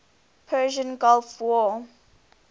persian gulf war